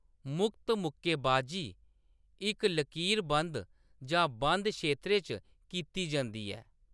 मुक्त मुक्केबाजी इक लकीरबंद जां बंद क्षेत्रै च कीती जंदी ऐ।